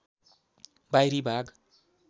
बाहिरी भाग